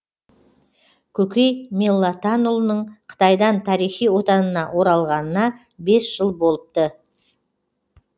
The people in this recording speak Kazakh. көкей меллатанұлының қытайдан тарихи отанына оралғанына бес жыл болыпты